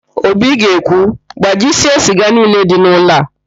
Obi ga-ekwu, gbajisie siga niile dị n'ụlọ a!